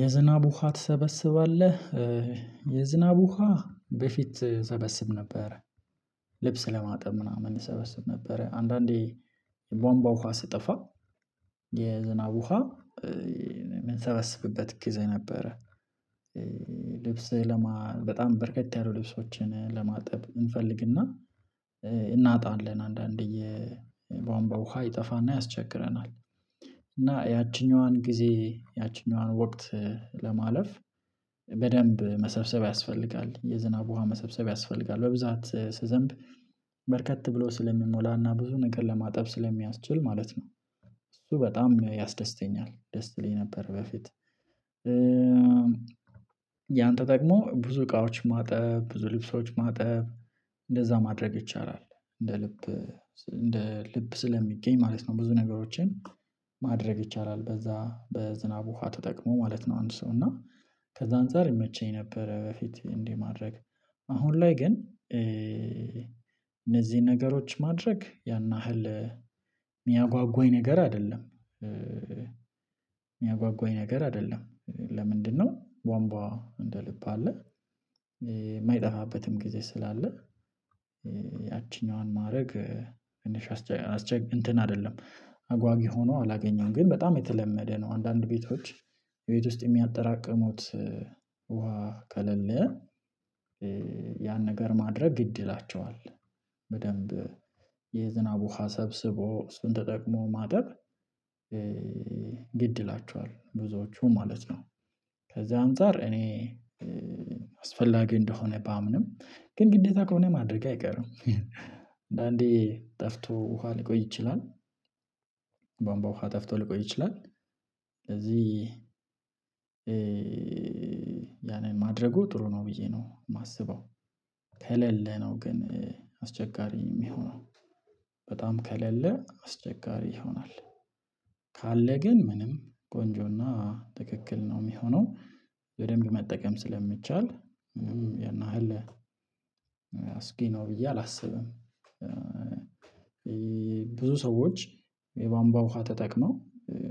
የዝናብ ውሃ ትሰበስባለህ የዝናብ ውሃ በፊት ሰበስብ ነበረ። ልብስ ለማጠብ ምናምን ሰበስብ ነበር አንዳንዴ የቧንቧ ውሃ ስጠፋ የዝናብ ውሃ የምንሰበስብበት ጊዜ ነበረ። ልብስ ለማ በጣም በረከት ያሉ ልብሶችን ለማጠብ እንፈልግና እናጣለን አንዳንዴ የቧንቧ ውሃ ይጠፋና ያስቸግረናል። እና ያቺኛዋን ጊዜ ያቺኛዋን ወቅት ለማለፍ በደንብ መሰብሰብ ያስፈልጋል የዝናብ ውሃ መሰብሰብ ያስፈልጋል በብዛት ስዘንብ በርከት ብሎ ስለሚሞላና ብዙ ነገር ለማጠብ ስለሚያስችል ማለት ነው። እሱ በጣም ያስደስተኛል ደስ ይልኝ ነበር። በፊት ያንተ ደግሞ ብዙ እቃዎች ማጠብ ብዙ ልብሶች ማጠብ እንደዛ ማድረግ ይቻላል። እንደ ልብ እንደ ልብ ስለሚገኝ ማለት ነው ብዙ ነገሮችን ማድረግ ይቻላል በዛ በዝናብ ውሃ ተጠቅሞ ማለት ነው። አንድ ሰው እና ከዛ አንፃር ይመቸኝ ነበረ። በፊት እንዲህ ማድረግ አሁን ላይ ግን እነዚህን ነገሮች ማድረግ ያን ያህል የሚያጓጓኝ ነገር አይደለም። የሚያጓጉኝ ነገር አይደለም ለምንድነው? ቧንቧ እንደ ልብ አለ። የማይጠፋበትም ጊዜ ስላለ ያቺኛዋን ማድረግ እንትን አይደለም አጓጊ ሆኖ አላገኘውም ግን በጣም የተለመደ ነው። አንዳንድ ቤቶች የቤት ውስጥ የሚያጠራቅሙት ውሃ ከለለ ያን ነገር ማድረግ ግድ ይላቸዋል። በደንብ የዝናብ ውሃ ሰብስቦ እሱን ተጠቅሞ ማጠብ ግድ ይላችኋል ብዙዎቹ ማለት ነው። ከዛ አንፃር እኔ አስፈላጊ እንደሆነ ባምንም ግን ግዴታ ከሆነ ማድረግ አይቀርም። አንዴ ጠፍቶ ውሃ ሊቆይ ይችላል። ቧምቧ ውሃ ጠፍቶ ሊቆይ ይችላል። ስለዚህ ያንን ማድረጉ ጥሩ ነው ብዬ ነው የማስበው። ከሌለ ነው ግን አስቸጋሪ የሚሆነው በጣም ከሌለ አስቸጋሪ ይሆናል። ካለ ግን ምንም ቆንጆና ትክክል ነው የሚሆነው በደንብ መጠቀም ስለሚቻል ያን ያህል አስጊ ነው ብዬ አላስብም። ብዙ ሰዎች የቧንቧ ውሃ ተጠቅመው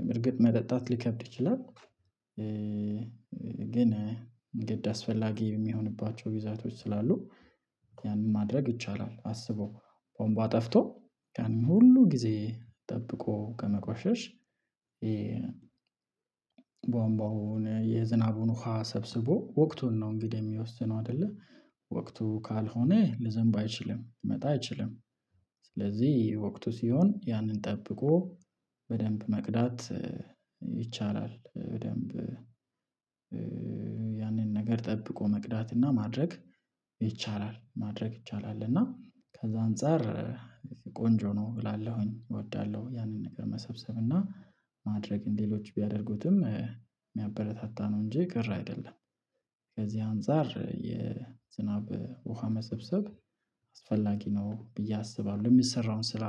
በእርግጥ መጠጣት ሊከብድ ይችላል። ግን ግድ አስፈላጊ የሚሆንባቸው ግዛቶች ስላሉ ያንን ማድረግ ይቻላል። አስቦ ቧምቧ ጠፍቶ ያንን ሁሉ ጊዜ ጠብቆ ከመቆሸሽ ቧንቧው የዝናቡን ውሃ ሰብስቦ ወቅቱን ነው እንግዲህ የሚወስነው አይደለ። ወቅቱ ካልሆነ ልዘንብ አይችልም ልመጣ አይችልም። ስለዚህ ወቅቱ ሲሆን ያንን ጠብቆ በደንብ መቅዳት ይቻላል። በደንብ ያንን ነገር ጠብቆ መቅዳት እና ማድረግ ይቻላል ማድረግ ይቻላል እና ከዛ አንፃር ቆንጆ ነው እላለሁኝ። እወዳለሁ ያንን ነገር መሰብሰብ እና ማድረግ ሌሎች ቢያደርጉትም የሚያበረታታ ነው እንጂ ቀር አይደለም። ከዚህ አንፃር የዝናብ ውሃ መሰብሰብ አስፈላጊ ነው ብዬ አስባለሁ የሚሰራውን ስራ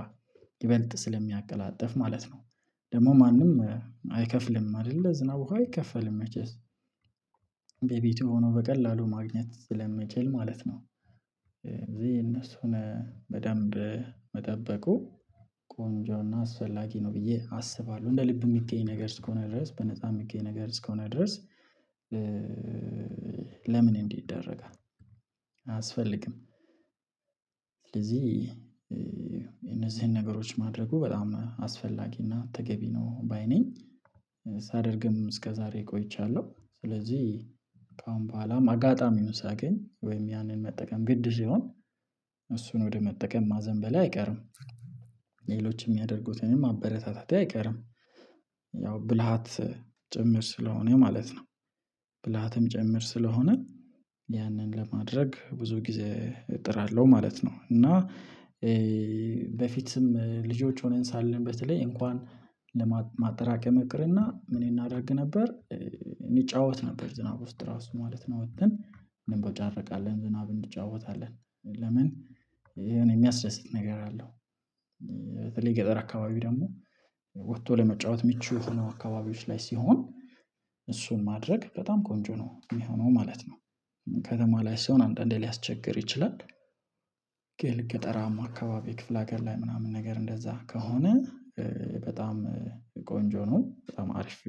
ይበልጥ ስለሚያቀላጥፍ ማለት ነው። ደግሞ ማንም አይከፍልም አይደለ ዝናብ አይከፈልም መቼስ በቤቱ ሆኖ በቀላሉ ማግኘት ስለመቼል ማለት ነው። እነሱን በደንብ መጠበቁ ቆንጆና አስፈላጊ ነው ብዬ አስባለሁ እንደ ልብ የሚገኝ ነገር እስከሆነ ድረስ በነፃ የሚገኝ ነገር እስከሆነ ድረስ ለምን እንዲ ይደረጋል አያስፈልግም። ስለዚህ እነዚህን ነገሮች ማድረጉ በጣም አስፈላጊ እና ተገቢ ነው ባይ ነኝ። ሳደርግም እስከዛሬ ቆይቻለሁ ስለዚህ ከአሁን በኋላም አጋጣሚውን ሳገኝ ወይም ያንን መጠቀም ግድ ሲሆን እሱን ወደ መጠቀም ማዘንበሌ አይቀርም። ሌሎች የሚያደርጉትንም ማበረታታቴ አይቀርም ያው ብልሃት ጭምር ስለሆነ ማለት ነው ብልሃትም ጭምር ስለሆነ ያንን ለማድረግ ብዙ ጊዜ እጥራለሁ ማለት ነው። እና በፊትም ልጆች ሆነን ሳለን በተለይ እንኳን ለማጠራቀም ይቅርና ምን እናዳርግ ነበር እንጫወት ነበር ዝናብ ውስጥ ራሱ ማለት ነው። ወጥተን እንቦጫረቃለን ዝናብ እንጫወታለን ለምን የሚያስደስት ነገር አለው። በተለይ ገጠር አካባቢው ደግሞ ወጥቶ ለመጫወት ምቹ ሆኖ አካባቢዎች ላይ ሲሆን እሱን ማድረግ በጣም ቆንጆ ነው የሚሆነው ማለት ነው። ከተማ ላይ ሲሆን አንዳንዴ ሊያስቸግር ይችላል። ግን ገጠራማ አካባቢ ክፍለ ሀገር ላይ ምናምን ነገር እንደዛ ከሆነ በጣም ቆንጆ ነው በጣም አሪፍ።